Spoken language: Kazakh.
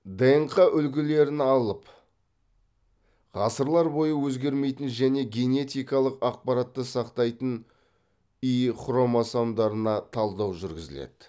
днқ үлгілерін алып ғасырлар бойы өзгермейтін және генетикалық ақпаратты сақтайтын и хромосомдарына талдау жүргізіледі